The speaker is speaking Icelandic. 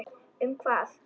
Um hvað?